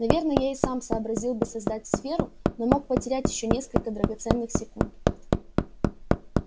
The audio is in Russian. наверное я и сам сообразил бы создать сферу но мог потерять ещё несколько драгоценных секунд